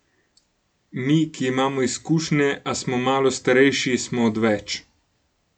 Mi, ki imamo izkušnje, a smo malo starejši, smo odveč.